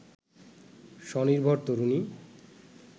স্বনির্ভর তরুণী